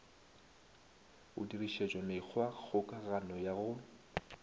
go dirišetšwa mekgwakgokagano ya go